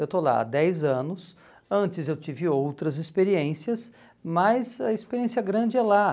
Eu estou lá há dez anos, antes eu tive outras experiências, mas a experiência grande é lá.